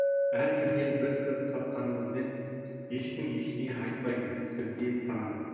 әркімнен бір сыр тартқанымызбен ешкім ештеңе айтпайды сөзге сараң